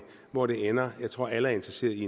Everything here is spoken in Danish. hvor det ender jeg tror at alle er interesserede i